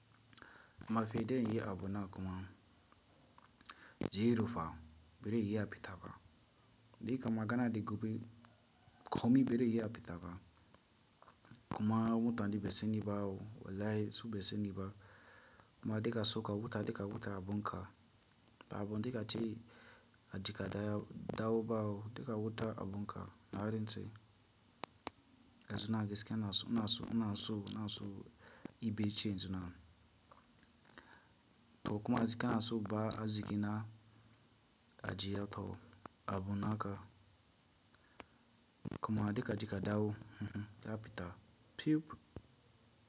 Mafaide yi abuna kuma ziro fa ba re iya fita ba Dika magana da gobe komi ba zai iya fita ba kuma mutane basu sani ba wallahi su ba su sani ba kuma duka so ka huta duk ka huta abun ka ba abun dika ce aji kadaya dawo bawo duk ka huta abun ka na rantse. Yanzu ina gaskiya ina in ɗibe change na. Kuma zika na su ba a ziki na ajiya tawo abun naka kuma dika aji kadawu, ya fita pip.